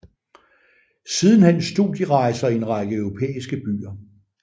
Sidenhen studierejser i en række europæiske byer